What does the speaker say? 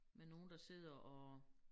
Med nogle der sidder og